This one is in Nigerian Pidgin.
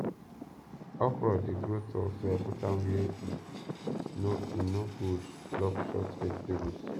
okra dey grow tall so i put am where e no e no go block short vegetables